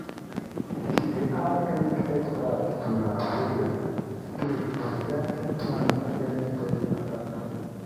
she dey add garlic extract to her foliar spray to strengthen plants against pest attack.